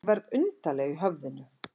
Ég verð undarleg í höfðinu.